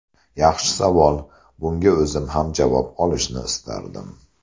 Yaxshi savol, bunga o‘zim ham javob olishni istardim.